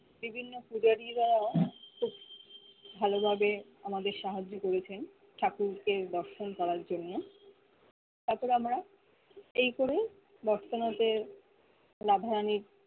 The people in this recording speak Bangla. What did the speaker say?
বিভিন্ন পূজারিরাও খুব ভালো ভাবে আমাদের সাহায্য করেছেন ঠাকুরকে দর্শন করার জন্য তার পরে আমরা এই করে বোরতনাতে রাধা রানি